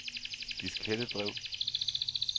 diskettedrev